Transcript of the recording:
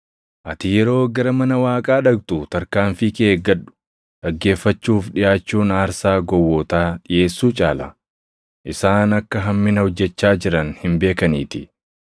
Ati yeroo gara mana Waaqaa dhaqxu tarkaanfii kee eeggadhu. Dhaggeeffachuuf dhiʼaachuun aarsaa gowwootaa dhiʼeessuu caala; isaan akka hammina hojjechaa jiran hin beekaniitii.